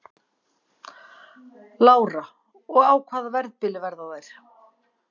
Lára: Og á hvaða verðbili verða þær?